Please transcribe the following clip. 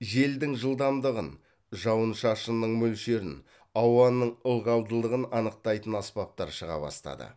желдің жылдамдығын жауын шашынның мөлшерін ауаның ылғалдылығын анықтайтын аспаптар шыға бастады